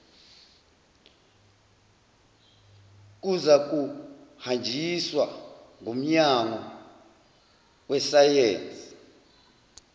nkuzakuhanjiswa ngumnyango wesayensi